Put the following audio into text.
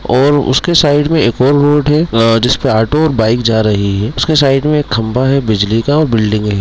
और उसके साइड में एक और रोड है अ जिसपे ऑटो और बाइक जा रही है| उसके सामने एक खंबा है बिजली का और बिल्डिंग है।